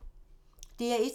DR1